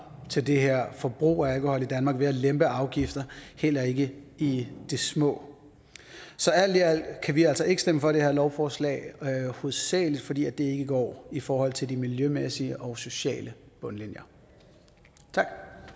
til det her forbrug af alkohol i danmark ved at lempe afgifter heller ikke i det små så alt i alt kan vi altså ikke stemme for det her lovforslag hovedsagelig fordi det ikke går i forhold til de miljømæssige og sociale bundlinjer tak